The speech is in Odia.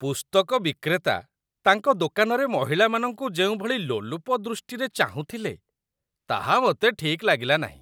ପୁସ୍ତକ ବିକ୍ରେତା ତାଙ୍କ ଦୋକାନରେ ମହିଳାମାନଙ୍କୁ ଯେଉଁଭଳି ଲୋଲୁପ ଦୃଷ୍ଟିରେ ଚାହୁଁଥିଲେ, ତାହା ମୋତେ ଠିକ୍ ଲାଗିଲା ନାହିଁ।